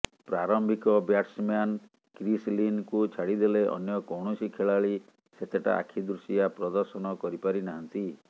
ପ୍ରାରମ୍ଭିକ batsman Chris ଲିନଙ୍କୁ ଛାଡିଦେଲେ ଅନ୍ୟ କୌଣସି ଖେଳାଳୀ ସେତେଟା ଆଖି ଦୃଶିଆ ପ୍ରଦର୍ଶନ କରିପାରିନାହାନ୍ତି